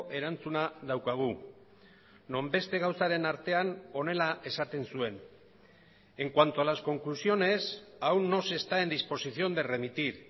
erantzuna daukagu non beste gauzaren artean honela esaten zuen en cuanto a las conclusiones aún no se está en disposición de remitir